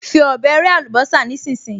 Fi ọ̀bẹ rẹ́ àlùbọ́sà nísinsìnyí!